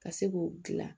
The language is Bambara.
Ka se k'o dilan